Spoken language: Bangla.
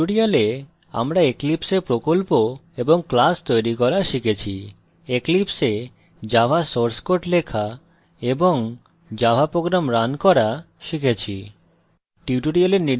in tutorial আমরা eclipse a প্রকল্প এবং class তৈরী করা শিখেছি eclipse a java source code লেখা এবং java program রান করা শিখেছি